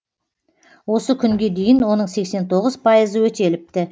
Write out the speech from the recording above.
осы күнге дейін оның сексен тоғыз пайызы өтеліпті